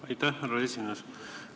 Aitäh, härra esimees!